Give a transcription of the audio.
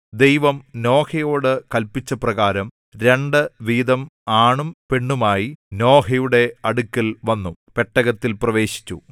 ദൈവം നോഹയോട് കല്പിച്ചപ്രകാരം രണ്ട് വീതം ആണും പെണ്ണുമായി നോഹയുടെ അടുക്കൽ വന്നു പെട്ടകത്തിൽ പ്രവേശിച്ചു